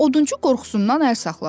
Odunçu qorxusundan əl saxladı.